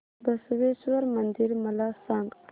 बसवेश्वर मंदिर मला सांग